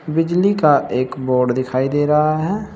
बिजली का एक बोर्ड दिखाई दे रहा है।